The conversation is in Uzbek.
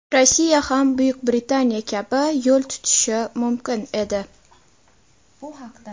Rossiya ham Buyuk Britaniya kabi yo‘l tutishi mumkin edi.